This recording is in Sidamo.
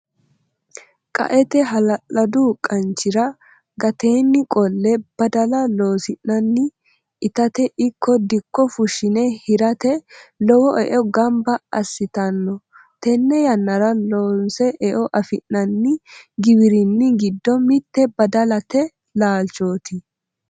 Qaete hala'ladu qanchira gateni qolle badala loosi'nanni itate ikko dikko fushine hirate lowo eo gamba assittano tene yannara loonse eo affi'nanni giwirinni giddo mite badalate laalchoti.